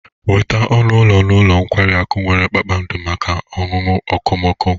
Nweta ọnụ ụlọ n'ụlọ nkwari akụ nwere kpakpando maka ọnụnọ okomoko.